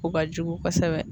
O ka jugu kosɛbɛ.